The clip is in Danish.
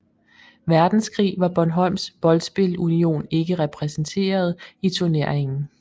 Verdenskrig var Bornholms Boldspil Union ikke repræsenteret i turneringen